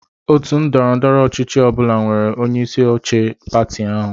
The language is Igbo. Otu ndọrọ ndọrọ ọchịchị ọ bụla nwere onyeisi oche pati ahụ.